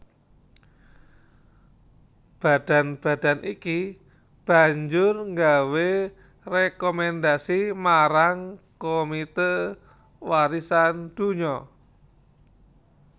Badan badan iki banjur gawé rékomendhasi marang Komité Warisan Donya